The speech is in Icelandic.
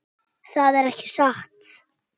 Það er ekki satt.